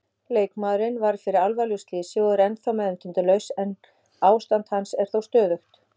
Leikmaðurinn varð fyrir alvarlegu slysi og er ennþá meðvitundarlaus en ástand hans er þó stöðugt.